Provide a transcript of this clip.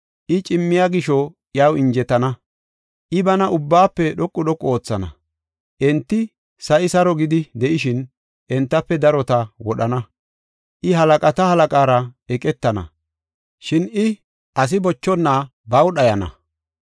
I cimmiya gisho iyaw injetana; I bana ubbaafe dhoqu dhoqu oothana. Enti sa7i saro gidi de7ishin, entafe darota wodhana. I halaqata Halaqaara eqetana, shin I, asi bochona baw dhayana.